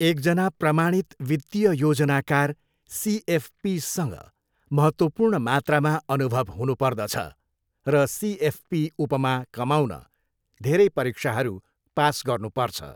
एकजना प्रमाणित वित्तीय योजनाकार सिएफपीसँग महत्त्वपूर्ण मात्रामा अनुभव हुनुपर्दछ र सिएफपी उपमा कमाउन धेरै परीक्षाहरू पास गर्नुपर्छ।